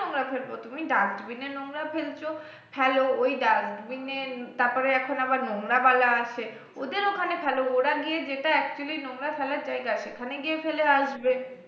ফেলবো তুমি dustbin এ নোংরা ফেলছো ফেলো ওই dustbin এ তারপরে এখন আবার নোংরা ওয়ালা আছে ওদের ওখানে ফেলো ওরা গিয়ে যেটা actually নোংরা ফেলার জায়গা সেখানে গিয়ে ফেলে আসবে